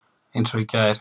Eins og í gær.